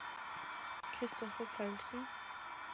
Kristoffer Paulsen